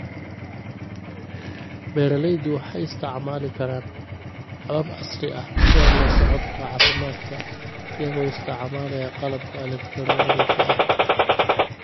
Beeralaydu waxay isticmaali karaan habab casri ah sida la socodka caafimaadka iyagoo isticmaalaya qalabka elegtarooniga ah.